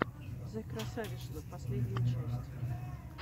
зэкрасавишна последняя часть